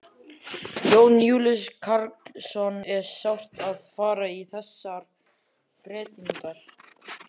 Jón Júlíus Karlsson: Er sárt að fara í þessar breytingar?